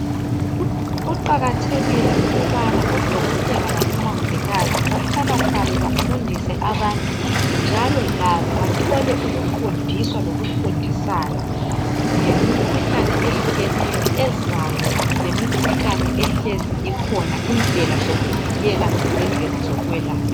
Kuqakathekile ukubana odokotela labomungikazi bahlalahlale bafundise abantu. Njalo labo bathole ukufundiswa ukufundisana lemikhuhlane ehlukeneyo ezayo, lemikhuhlane ehlezi ekhona, lendlela zokuvikela lendlela zokwelapha.